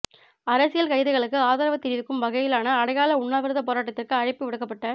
அரசியல் கைதிகளுக்கு ஆதரவு தெரிவிக்கும் வகையிலான அடையாள உண்ணாவிரத போராட்டத்திற்கு அழைப்பு விடுக்கப்பட